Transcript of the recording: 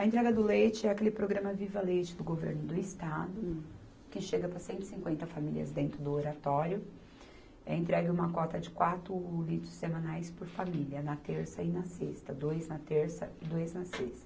A entrega do leite é aquele programa Viva Leite do governo do estado, que chega para cento e cinquenta famílias dentro do Oratório, entrega uma cota de quatro litros semanais por família, na terça e na sexta, dois na terça e dois na sexta.